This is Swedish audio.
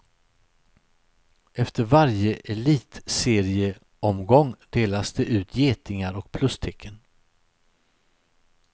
Efter varje elitserieomgång delas det ut getingar och plustecken.